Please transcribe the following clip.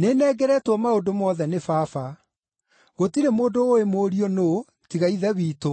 “Nĩnengeretwo maũndũ mothe nĩ Baba. Gũtirĩ mũndũ ũũĩ Mũriũ nũũ, tiga Ithe witũ,